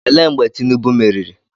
Ele mgbe Tinubu meriri?